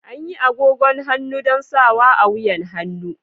Anyi agogon hannu don sawa a wuyan hannu.